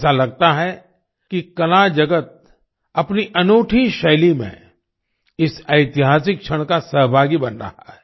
ऐसा लगता है कि कला जगत अपनी अनूठी शैली में इस ऐतिहासिक क्षण का सहभागी बन रहा है